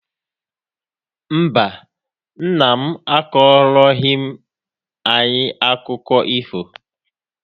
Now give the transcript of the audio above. Mba, nna m akọrọghị anyị akụkọ ifo.